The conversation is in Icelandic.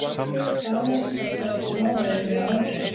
Daniel þarf að fara í smávægilega aðgerð.